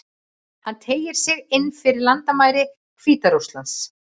Hann teygir sig inn fyrir landamæri Hvíta-Rússlands.